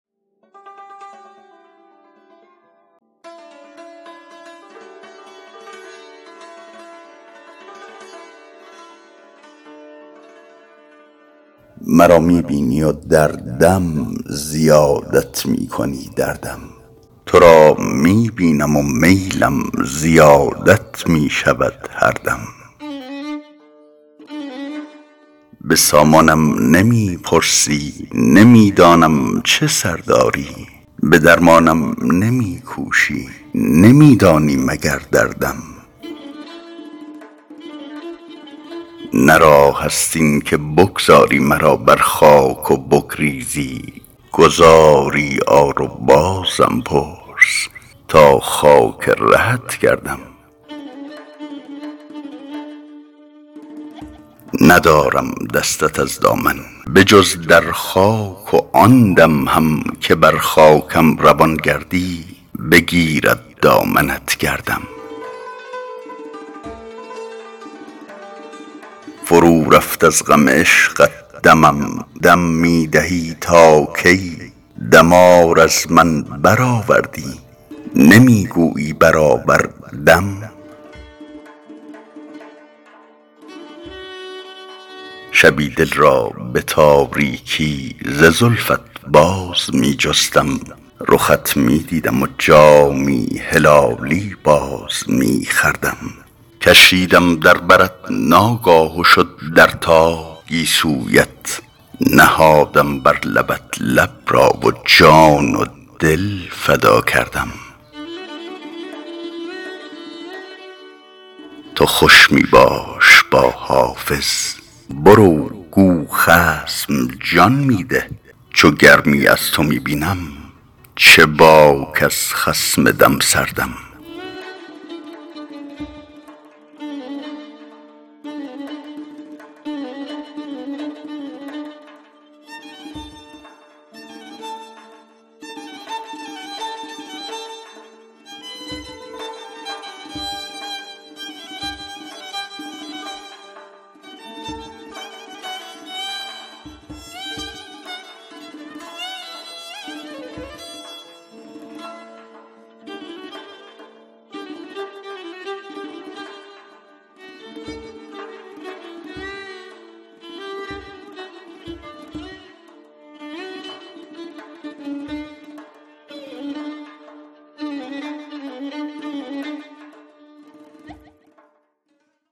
مرا می بینی و هر دم زیادت می کنی دردم تو را می بینم و میلم زیادت می شود هر دم به سامانم نمی پرسی نمی دانم چه سر داری به درمانم نمی کوشی نمی دانی مگر دردم نه راه است این که بگذاری مرا بر خاک و بگریزی گذاری آر و بازم پرس تا خاک رهت گردم ندارم دستت از دامن به جز در خاک و آن دم هم که بر خاکم روان گردی بگیرد دامنت گردم فرو رفت از غم عشقت دمم دم می دهی تا کی دمار از من برآوردی نمی گویی برآوردم شبی دل را به تاریکی ز زلفت باز می جستم رخت می دیدم و جامی هلالی باز می خوردم کشیدم در برت ناگاه و شد در تاب گیسویت نهادم بر لبت لب را و جان و دل فدا کردم تو خوش می باش با حافظ برو گو خصم جان می ده چو گرمی از تو می بینم چه باک از خصم دم سردم